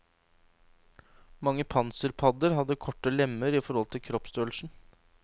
Mange panserpadder hadde korte lemmer i forhold til kroppsstørrelsen.